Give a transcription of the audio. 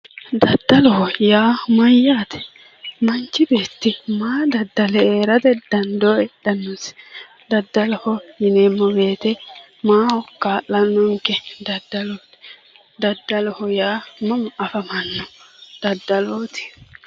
Daddalloho yaa mayate, manchi beetti maa daddalle heerate dando heedhanosi? Daddalloho yineemmo woyte maaho kaa'lanonke daddallu, daddallu yaa mama afamano daddalloti